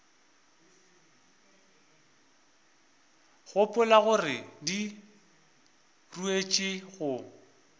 gopola gore di ruetšwe go